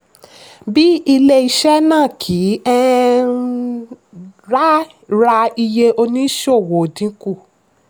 bí ilé-iṣẹ́ náà kì í um ra iye òníṣòwò dínkù.